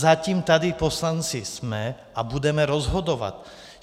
Zatím tady poslanci jsme a budeme rozhodovat.